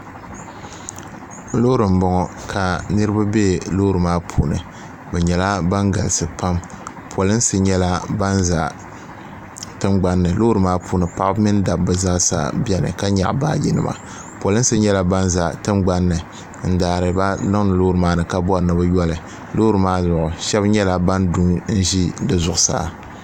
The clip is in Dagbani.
loori m-bɔŋɔ ka niriba be loori maa puuni bɛ nyɛla ban galisi pam polinsi nyɛla ban za tiŋgbani ni loori maa puuni paɣiba mini dabba zaasa beni ka nyaɣi baajinima polinsi nyɛla ban za tiŋgbani ni n-daari ba niŋdi loori maa ni ka bɔri ni bɛ yo li loori maa zuɣu shɛba nyɛla ban du n-ʒi di zuɣusaa